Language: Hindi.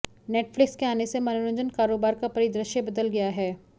नेटफ्लिक्स के आने से मनोरंजन कारोबार का परिदृश्य बदल गया है